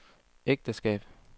ægteskab